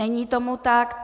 Není tomu tak.